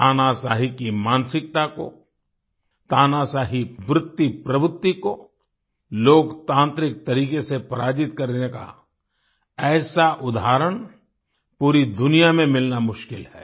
तानाशाही की मानसिकता को तानाशाही वृतिप्रवृत्ति को लोकतांत्रिक तरीके से पराजित करने का ऐसा उदाहरण पूरी दुनिया में मिलना मुश्किल है